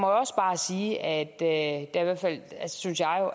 også bare sige at der i hvert fald synes jeg jo